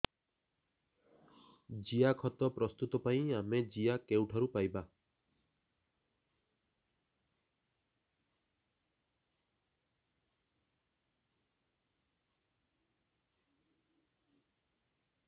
ଜିଆଖତ ପ୍ରସ୍ତୁତ ପାଇଁ ଆମେ ଜିଆ କେଉଁଠାରୁ ପାଈବା